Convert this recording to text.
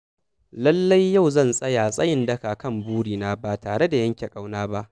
Lallai Yau zan tsaya tsayin daka kan burina ba tare da yanke ƙauna ba.